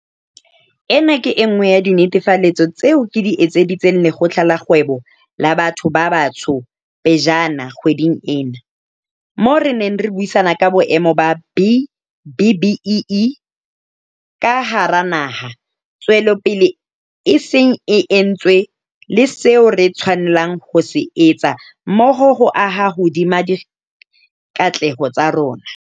Ena ke e nngwe ya dinetefaletso tseo ke di etseditseng Lekgotla la Kgwebo la Batho ba Batsho pejana kgweding ena, moo re neng re buisana ka boemo ba B-BBEE ka hara naha, tswelopele e seng e entswe le seo re tshwanelang ho se etsa mmoho ho aha hodima dikatleho tsa rona.